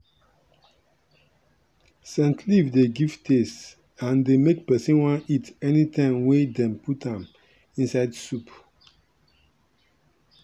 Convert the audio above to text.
scent leaf dey give taste and dey make person wan eat anytime wey dem put am inside soup.